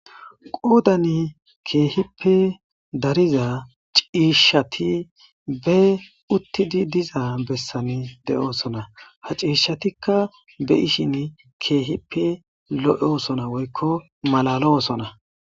Qoodan keehippe dariza ciishshati be uttidi diza bessan de'oosona ha ciishshatikka be ishin keehippe lo'oosona woykko malalo osona.